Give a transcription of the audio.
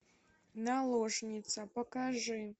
наложница покажи